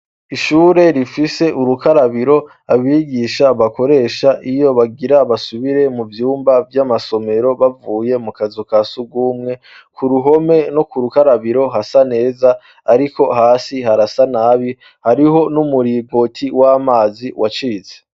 Ishure rifise urukarabiro abigisha bakoresha iyo bagira basubire mu vyumba vy'amasomero bavuye mu kazu ka sugumwe, ku ruhome no ku rukarabiro hasa neza ariko hasi harasa nabi hariho n'umuringoti w'amazi wacitse.